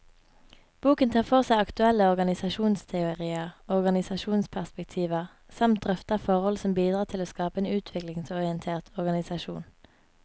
Boken tar for seg aktuelle organisasjonsteorier og organisasjonsperspektiver, samt drøfter forhold som bidrar til å skape en utviklingsorientert organisasjon.